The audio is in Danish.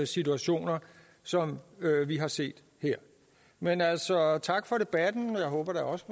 situationer som vi har set her men altså tak for debatten jeg håber da også